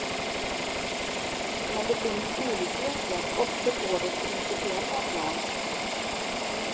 Men det finns olikheter också på det principiella planet.